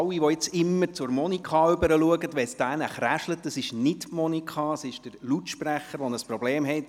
An alle, die immer wieder zu Monika Müller schauen, wenn es knistert: Es liegt nicht an ihr, sondern am Lautsprecher, der ein Problem hat.